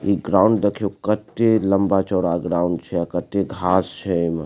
इ ग्राउंड देखियो केते लम्बा-चौड़ा ग्राउंड छै अ कते घास छै ऐमे।